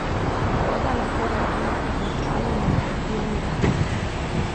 Voda lahko reagira kot nevtralen nukleofilni reagent.